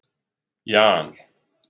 Jan